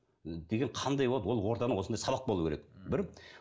деген қандай болып ол орданың осындай сабақ болу керек бір